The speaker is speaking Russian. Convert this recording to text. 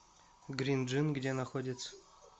грин джин где находится